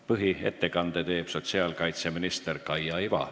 Põhiettekande teeb sotsiaalkaitseminister Kaia Iva.